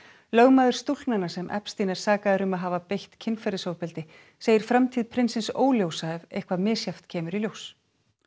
lögmaður stúlknanna sem Epstein er sakaður um að hafa beitt kynferðisofbeldi segir framtíð prinsins óljósa ef eitthvað misjafnt kemur í ljós